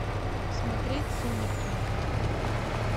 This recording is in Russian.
смотреть сумерки